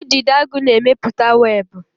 Udidoagu na-emepụta webụ.